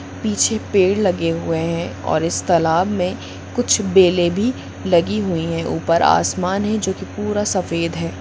पीछे पेड़ लगे हुए हैऔर इस तालाब में कुछ बेले भी लगी हुई है ऊपर आसमान है जो की पुरा सफ़ेद है।